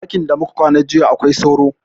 Ɗakin da muka kwana jiya akwai sauro